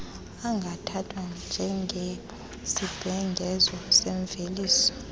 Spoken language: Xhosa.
angathathwa njengesibhengezo semveliso